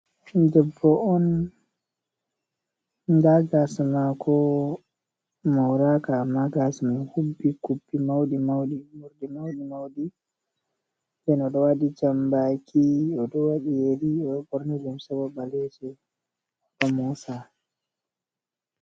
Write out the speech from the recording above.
Debbo on ndaa gaasa maako mooraaka amma gaasa man hubbi kubbi mawɗi mawɗi. Morɗi mawɗi mawɗi ena o ɗo waɗi janmbaaki, o ɗo waɗi yeri, o ɓoorni limse boo ɓaleeje o ɗo moosa.